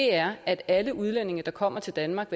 er at alle udlændinge der kommer til danmark